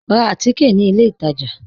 Rá àtìké ní ilẹ̀ ìtajá